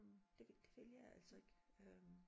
Det det vil jeg altså ikke øh